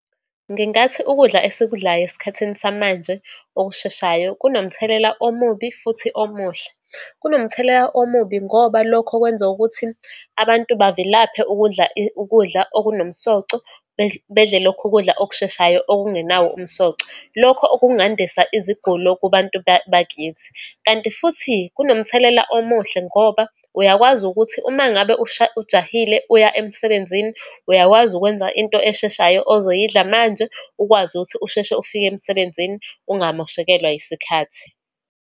Ngingathi ukudla esikudlayo esikhathini samanje, okusheshayo, kunomthelela omubi futhi omuhle. Kunomthelela omubi ngoba lokho kwenza ukuthi, abantu bavilaphe ukudla ukudla okunomsoco, bedle lokhu kudla okusheshayo, okungenawo umsoco. Lokho okungandisa izigulo kubantu bakithi. Kanti futhi kunomthelela omuhle, ngoba uyakwazi ukuthi uma ngabe ujahile, uya emsebenzini, uyakwazi ukwenza into esheshayo ozoyidla manje, ukwazi ukuthi usheshe ufike emsebenzini, ungamoshekelwa isikhathi.